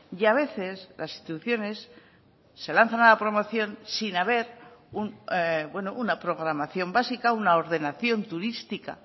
y a veces las instituciones se lanzan a la promoción sin haber una programación básica una ordenación turística